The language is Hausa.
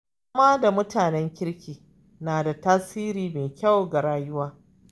Zama da mutanen kirki na da tasiri mai kyau ga rayuwa.